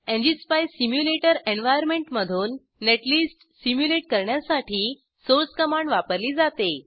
ngspice simulator एन्वार्यनमेंटमधून netlist simulate करण्यासाठी source command वापरली जाते